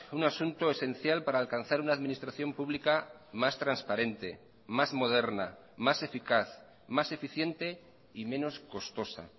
un asunto esencial para alcanzar una administración pública más transparente más moderna más eficaz más eficiente y menos costosa